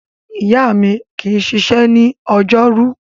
Ìyá mi kì í ṣiṣẹ́ ní ọjọ́rú.